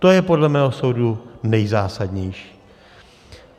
To je podle mého soudu nejzásadnější.